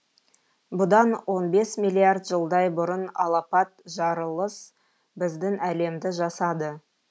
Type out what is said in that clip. бұдан он бес миллиард жылдай бұрын алапат жарылыс біздің әлемді жасады